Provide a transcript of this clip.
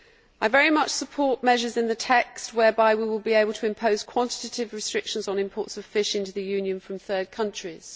I very much support measures in the text whereby we will be able to impose quantitative restrictions on imports of fish into the Union from third countries.